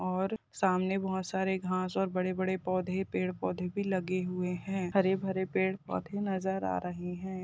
और सामने बहुत सारे घास बड़े-बड़े पौधे पेड़ पौधे भी लगे हुये हैं हरे भरे पेड़ पौधे भी नज़र आ रहे हैं।